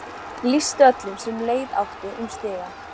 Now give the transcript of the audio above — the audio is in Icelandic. Lýsti öllum sem leið áttu um stigann.